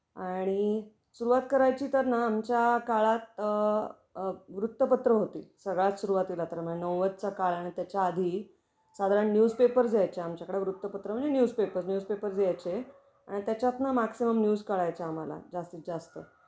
आणि सुरुवात करायची तर ना आमच्या काळात अ अ वृत्तपत्र होती. सगळ्यात सुरुवातीला तर म्हणजे नव्वद त्या काळ आणि त्याच्या आधी साधारण न्यूजपेपर्स यायचे आमच्याकडे, वृत्तपत्र म्हणजे न्यूजपेपर्स. न्यूजपेपर्स यायचे. आणि त्याच्यात ना मॅक्सिमम न्यूज कळायचे आम्हाला, जास्तीत जास्त.